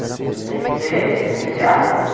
Eu eu tenho que ser tenho que ser as duas.